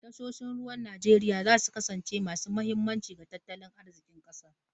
Tashoshin ruwan Najeriya za su kasance masu muhimmanci ga tattalin arzikin kasar.